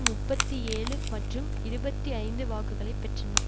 முப்பத்தி ஏழு மற்றும் இருபத்தி ஐந்து வாக்குகளை பெற்றனர்